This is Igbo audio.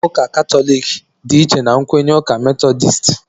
Nkwenye ụka katọliki dị iche na nkwenye ụka metọdisti